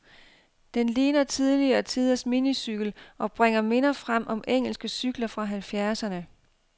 Den ligner tidligere tiders minicykel, og bringer minder frem om engelske cykler fra halvfjerdserne.